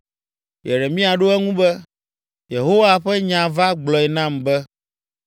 Yeremia ɖo eŋu be, “Yehowa ƒe nya va gblɔe nam be,